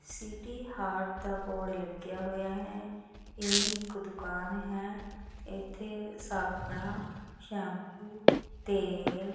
city ਹਾਟ ਦਾ board ਲੱਗਿਆ ਹੋਇਆ ਹੈ ਇਹ ਇਕ ਦੁਕਾਨ ਹੈ ਇਥੇ ਸਾਬਣ ਸ਼ੈਂਪੂ ਤੇਲ --